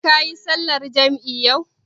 Kayi sallar jam'i yau?